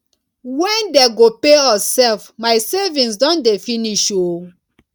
wen dey go pay us sef my savings don dey finish oo